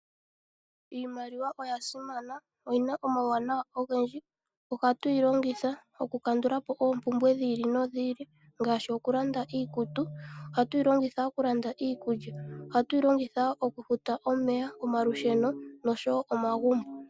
Iimaliwa oya simana. Oyina omawuwanawa ogendji. Ohatuyi longitha oku kandulapo oompumbwe dhi ili nodhi ili ngaashi oku landa iikutu. Oha tuyi longitha oku landa iikulya. Ohatuyi longitha wo oku futa omeya, omalusheno noshowo oomagumbo.